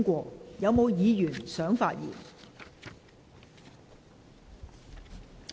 是否有議員想發言？